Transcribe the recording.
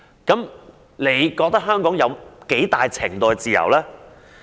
如是者，她認為香港有多大程度的自由？